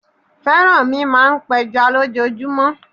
Fẹ́rànmi máa ń pẹja lójoojúmọ́.